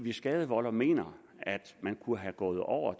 skadevolder mener at man kunne have gået over